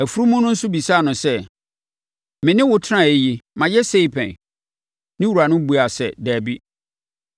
Afunumu no nso bisaa no sɛ, “Me ne wo tenaeɛ yi, mayɛ sei pɛn?” Ne wura no buaa sɛ, “Dabi.”